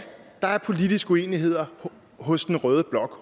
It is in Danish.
der er politiske uenigheder hos rød blok